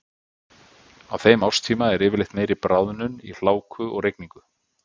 Á þeim árstíma er yfirleitt meiri bráðnun í hláku og rigningu.